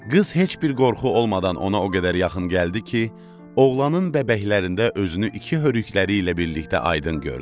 Qız heç bir qorxu olmadan ona o qədər yaxın gəldi ki, oğlanın bəbəklərində özünü iki hörükleriyle birlikdə aydın gördü.